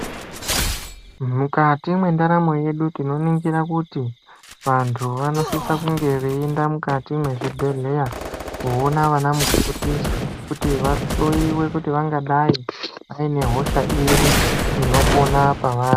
Mukati mwendaramo yedu tinoningira kuti vantu vanosisa kunge veienda mukati mwezvibhedhleya Koona ana mukoti kuti vahloiwe kuti vangadai vaine hosha iri inopona pavari.